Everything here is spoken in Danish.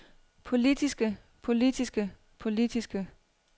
politiske politiske politiske